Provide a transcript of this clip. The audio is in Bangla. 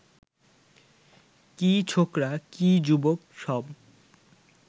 কী ছোকরা কী যুবক, সব